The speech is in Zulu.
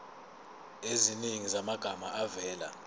eziningi zamagama avela